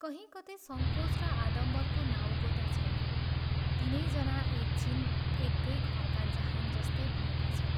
कहीं कतै संकोच र आडम्बरको नाउँगोता छैन, तीनैजना एक छिन एकै घरको जहान जस्ता भएका छन्।